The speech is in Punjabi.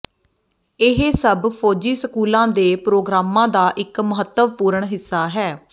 ਇਹ ਸਭ ਫੌਜੀ ਸਕੂਲਾਂ ਦੇ ਪ੍ਰੋਗਰਾਮਾਂ ਦਾ ਇੱਕ ਮਹੱਤਵਪੂਰਣ ਹਿੱਸਾ ਹੈ